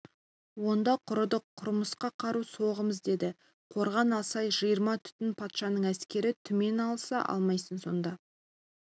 онда құрыдық құрымасқа қару соғамыз деді қорған алсай жиырма түтін патшаның әскері түмен алыса алмайсың сонда